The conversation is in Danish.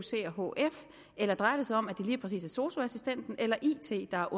hf eller drejer det sig om at det lige præcis er sosu assistenten eller it der